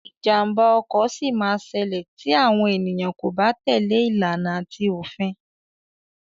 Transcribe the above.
Ìjàmbá ọkọ sì ma ṣẹlẹ ti àwọn ènìyàn kò bá tèlé ìlànà ati òfin.